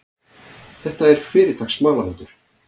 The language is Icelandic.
Þetta er fyrirtaks smalahundur.